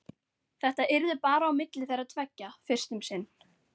Þetta yrði bara á milli þeirra tveggja fyrst um sinn.